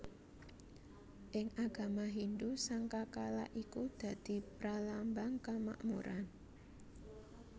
Ing agama Hindhu sangkakala iku dadi pralambang kamakmuran